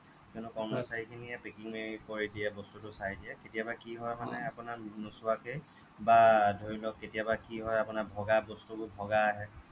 কিয়নো কৰ্মচাৰী খিনিয়ে packing কৰি দিয়ে বস্তুটো চাই দিয়ে কেতিয়াবা কি হয় মানে আপোনাৰ নোচোৱাকে বা ধৰি লওক কেতিয়াবা কি হয় আপোনাৰ ভগা বস্তুবোৰ ভগা আহে